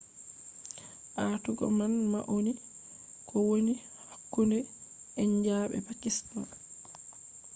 aatugo man nauni ko woni hakkunde india be pakistan